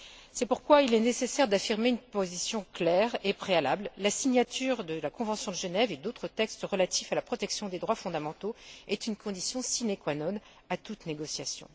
C'est pourquoi il est nécessaire d'affirmer une position claire et préalable la signature de la convention de Genève et d'autres textes relatifs à la protection des droits fondamentaux est une condition sine qua non à toute négociation.